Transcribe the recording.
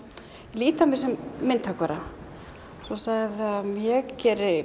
lít á mig sem myndhöggvara svoleiðis að ég geri